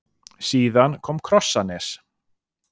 Síðan kom Krossanes.